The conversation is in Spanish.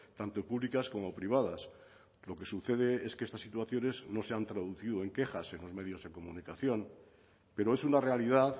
tanto públicas como privadas lo que sucede es que estas situaciones no se han traducido en quejas en los medios de comunicación pero es una realidad